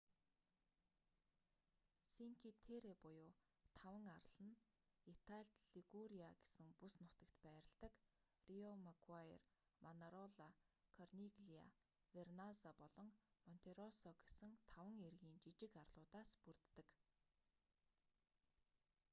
синки терре буюу таван арал нь италид лигуриа гэсэн бүс нутагт байрладаг риомаггуайр манарола корниглиа верназза болон монтероссо гэсэн таван эргийн жижиг арлуудаас бүрддэг